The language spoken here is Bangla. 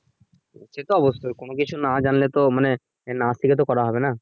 সেটা তো অবশ্যই কোন কিছু না জানলে তো মানে না শিখে তো করা যাবে না